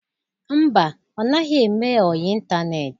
Mba, ọ naghị eme ọyị ịntaneetị.